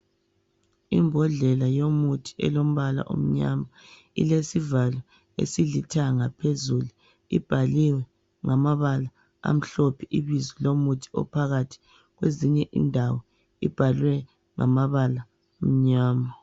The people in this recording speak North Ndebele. Imbodlela yomuthi elombala omnyama, ilesivalo esilithanga phezulu ibhaliwe ngamabala amhlophe ibizo lomuthi ophakathi kwezinye indawo ibhaliwe ngamabala amnyama.